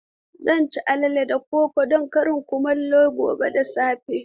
Zan ci alale da koko don karin kumallo gobe da safe.